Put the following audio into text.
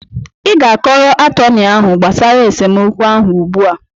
Ị ga-akọrọ atọnị ahụ gbasara esemokwu ahụ ugbu a!